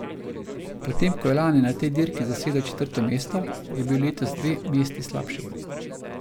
Potem ko je lani na tej dirki zasedel četrto mesto, je bil letos dve mesti slabši.